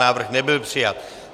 Návrh nebyl přijat.